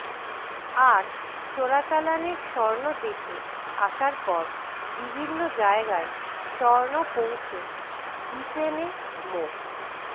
আর চোরাচালানের স্বর্ণ দেশে আসার পর বিভিন্ন জায়গায় স্বর্ণ পৌঁছে দিতেনে মো